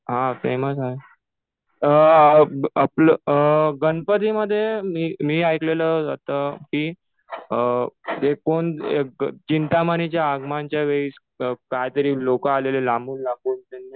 हा फेमस आहे. गणप्तीमध्ये मी ऐकलेलं कि ते कोण चिंतामणीच्या आगमनाच्या वेळीच काय तरी लोकं आलेले लांबून लांबून